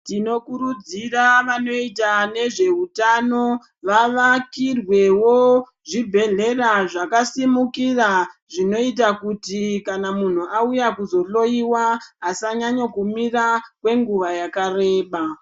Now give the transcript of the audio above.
Tinokurudzira vanoita nezveutano vavakirwewo zvibhedhlera zvakasimukira ,zvinoita kuti kana munhu auya kuzohloiwa, asanyanyokumira kwenguva yakareba.